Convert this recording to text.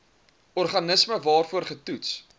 organisme waarvoor getoets